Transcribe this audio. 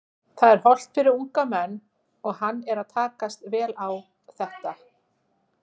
Það er hollt fyrir unga menn og hann er að takast vel á þetta.